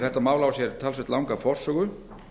þetta mál á sér talsvert langa forsögu